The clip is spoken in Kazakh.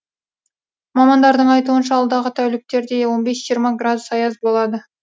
мамандардың айтуынша алдағы тәуліктерде он бес жиырма градус аяз болады